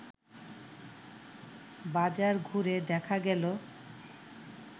বাজার ঘুরে দেখা গেল